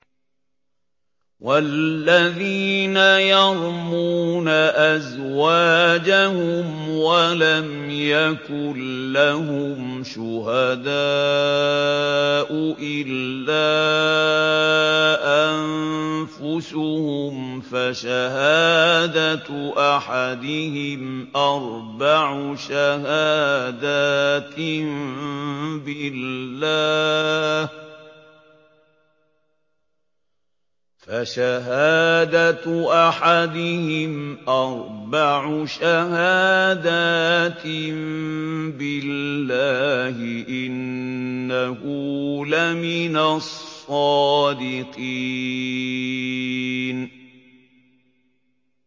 وَالَّذِينَ يَرْمُونَ أَزْوَاجَهُمْ وَلَمْ يَكُن لَّهُمْ شُهَدَاءُ إِلَّا أَنفُسُهُمْ فَشَهَادَةُ أَحَدِهِمْ أَرْبَعُ شَهَادَاتٍ بِاللَّهِ ۙ إِنَّهُ لَمِنَ الصَّادِقِينَ